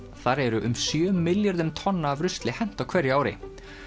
þar er um sjö milljörðum tonna af rusli hent á hverju ári